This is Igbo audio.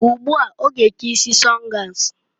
Ugbu a, ọ ga eke isi sọngas.